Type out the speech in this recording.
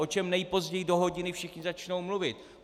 O čem nejpozději do hodiny všichni začnou mluvit?